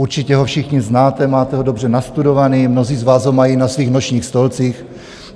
Určitě ho všichni znáte, máte ho dobře nastudovaný, mnozí z vás ho mají na svých nočních stolcích.